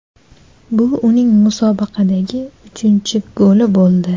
Bu uning musobaqadagi uchinchi goli bo‘ldi.